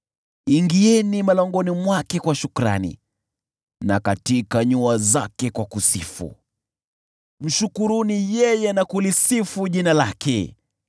Ingieni malangoni mwake kwa shukrani na katika nyua zake kwa kusifu, mshukuruni yeye na kulisifu jina lake.